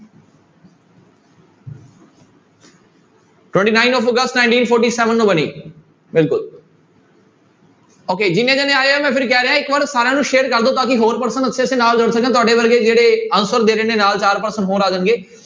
Twenty nine of August nineteen forty seven ਨੂੰ ਬਣੀ ਬਿਲਕੁਲ okay ਜਿੰਨੇ ਜਾਣੇ ਆਏ ਹੈ ਮੈਂ ਫਿਰ ਕਹਿ ਰਿਹਾਂ ਇੱਕ ਵਾਰ ਸਾਰਿਆਂ ਨੂੰ share ਕਰ ਦਓ ਤਾਂ ਕਿ ਹੋਰ person ਨਾਲ ਜੁੜ ਸਕਣ ਤੁਹਾਡੇ ਵਰਗੇ ਜਿਹੜੇ answer ਦੇ ਰਹੇ ਨੇ ਨਾਲ ਚਾਰ person ਹੋ ਆ ਜਾਣਗੇ।